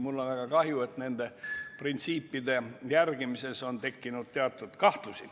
Mul on väga kahju, et nende printsiipide järgimisega on tekkinud teatud kahtlusi.